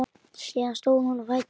Síðan stóð hún á fætur.